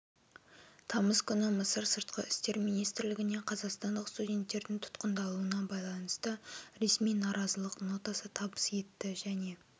тамыз күні мысыр сыртқы істер министрлігіне қазақстандық студенттердің тұтқындалуына байланысты ресми наразылық нотасы табыс етті және